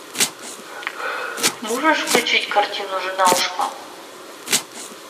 можешь включить картину жена ушла